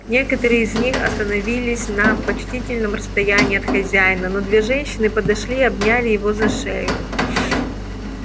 некоторые из них остановились на почтительном расстоянии от хозяина но две женщины подошли и обняли его за шею